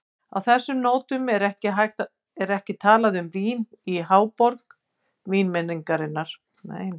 Á þessum nótum er ekki talað um vín í háborg vínmenningar.